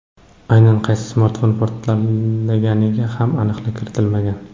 Aynan qaysi smartfon portlaganiga ham aniqlik kiritilmagan.